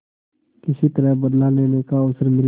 किसी तरह बदला लेने का अवसर मिले